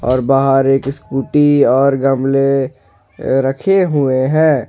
और बाहर एक स्कूटी और गमले रखे हुए हैं।